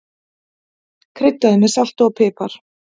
Kryddaðu með salti og pipar.